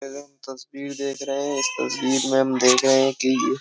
तस्वीर देख रहे हैं इस तस्वीर में हम देख रहे हैं कि --